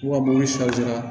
Wa ni sa